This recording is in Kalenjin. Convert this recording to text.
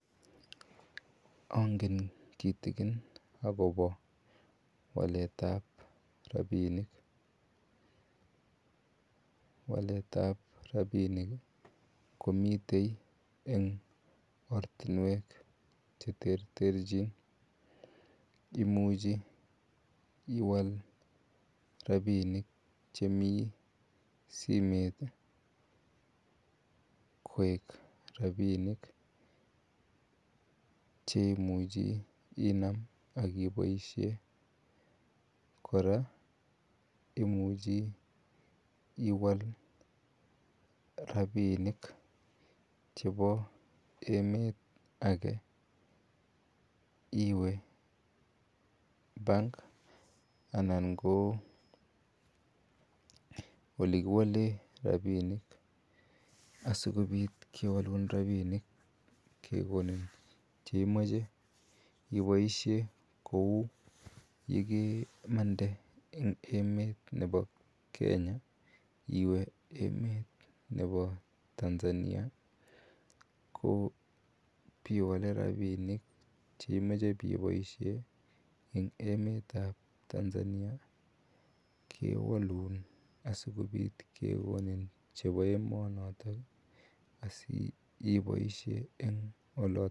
Ange. Kitikon akobo waletab rabinik. Waletab rabinik komiten en ortinuek cheterteren, imuche iwal rabinik che mi simet ih koek rabinik cheimuche inam akiboisien. Kora imuche iwal rabinik che bo emt age agiwe bank anan olekiwalen rabinik asikobit kekonin cheimache ibaishen kouu ye kemante en emeet nebo Kenya iwe emeetab Tanzania kewalun asikekonon chebo emonoto asiboisien en oloto.